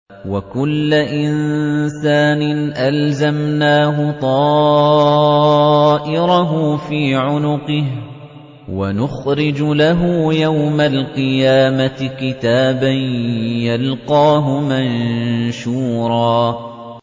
وَكُلَّ إِنسَانٍ أَلْزَمْنَاهُ طَائِرَهُ فِي عُنُقِهِ ۖ وَنُخْرِجُ لَهُ يَوْمَ الْقِيَامَةِ كِتَابًا يَلْقَاهُ مَنشُورًا